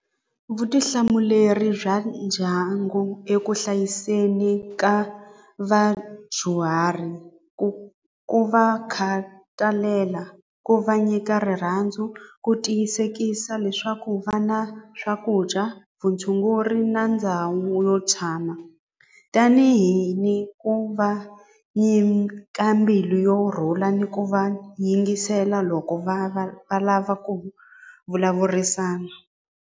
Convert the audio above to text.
Vutihlamuleri bya ndyangu eku hlayiseni ka vadyuhari ku ku va khatalela ku va nyika rirhandzu ku tiyisekisa leswaku va na swakudya vutshunguri na ndhawu yo tshama tanihi ni ku va ni ka mbilu yo rhula ni ku va yingisela loko va va va lava ku vulavurisana.